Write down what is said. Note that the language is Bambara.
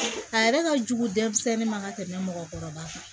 A yɛrɛ ka jugu denmisɛnnin ma ka tɛmɛ mɔgɔkɔrɔba kan